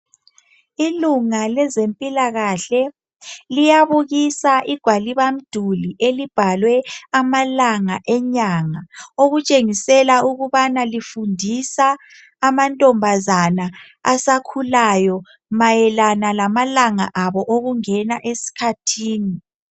Ilunga lezempilakahle liyabukisa igwalibamduli elibhalwe amalanga enyanga okutshengisela ukubana lifundisa amantombazana asakhulayo mayelana lamalanga abo okungena eskhathini.